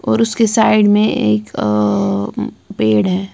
और उसके साइड में एक अं पेड़ है।